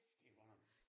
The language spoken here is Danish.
Det godt nok